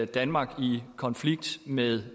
danmark i konflikt med